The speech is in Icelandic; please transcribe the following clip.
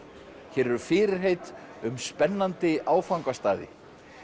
hér eru fyrirheit um spennandi áfangastaði